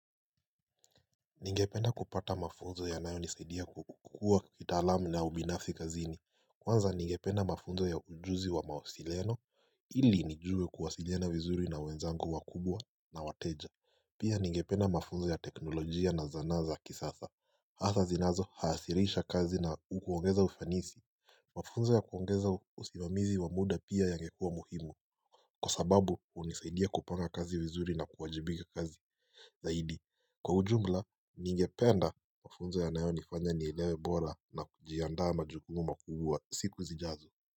Ningepena kupata mafunzo ya nayo nisaidia kukukua kitalamu na ubinasfi kazini Kwanza ningepena mafunzo ya ujuzi wa mawasiliano Ili nijue kuwasilena vizuri na wenzangu wa kubwa na wateja Pia ningepena mafunzo ya teknolojia na zana kisasa. Hatha zinazo haasirisha kazi na ukuongeza ufanisi Mafunzo ya kuongeza usimamizi wa muda pia yangekua muhimu. Kwa sababu unisaidia kupanga kazi vizuri na kuwajibika kazi Zaidi kwa ujumla niingependa mafunzo ya nayo nifanya niilewe bora na kujiandaa majukumu makubwaa siku zijazo.